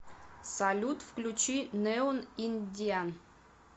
салют включи неон индиан